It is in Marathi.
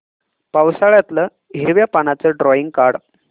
पावसाळ्यातलं हिरव्या पानाचं ड्रॉइंग काढ